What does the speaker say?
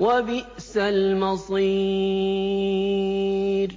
وَبِئْسَ الْمَصِيرُ